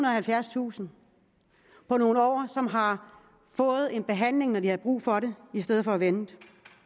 og halvfjerdstusind på nogle år som har fået en behandling når de havde brug for det i stedet for at vente